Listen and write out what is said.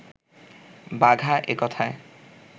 বাঘা এ কথায়